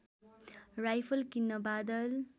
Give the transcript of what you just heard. rifle किन्न बादल